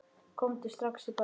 Komdu strax í bæinn.